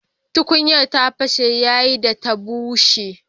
Tukunyar ta fashe yayin da ta bushe.